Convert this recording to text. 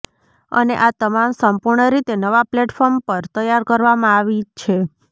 અને આ તમામ સંપૂર્ણરીતે નવા પ્લેટફોર્મ પર તૈયાર કરવામાં આવી છે